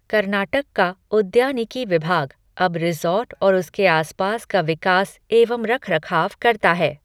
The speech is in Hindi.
कर्नाटक का उद्यानिकी विभाग अब रिज़ॉर्ट और उसके आसपास का विकास एवं रखरखाव करता है।